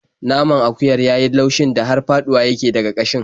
Naman akuyar ya yi laushin da har faɗuwa yake daga ƙashin.